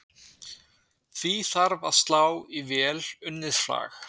Því þarf að sá í vel unnið flag.